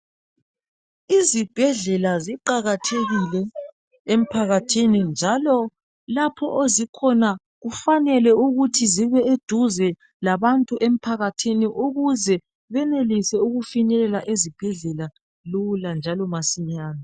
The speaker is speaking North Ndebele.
Izibhedlela ziqakathekile emphakathini njalo lapho ezikhona kufanele ukuthi zibe seduze labantu emphakathini ukuze benelise ukufinyelela ezibhedlela lula njalo masinyane.